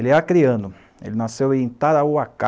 ele é acreano ele nasceu em Tarauacá